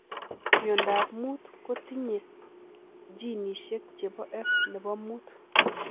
Miondop muut kotinyee ginisiek chepoo F nepo muut .